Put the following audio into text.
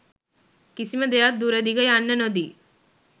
කිසිම දෙයක් දුර දිග යන්න නොදී